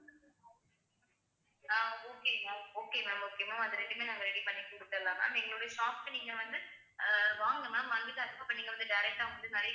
அஹ் okay ma'am okay ma'am okay ma'am அது ரெண்டுமே நாங்க ready பண்ணி கொடுத்துடலாம் ma'am எங்களுடைய shop க்கு நீங்க வந்து அஹ் வாங்க ma'am வாந்துட்டு அதுக்கு அப்புறம் நீங்க வந்து direct ஆ வந்து நிறைய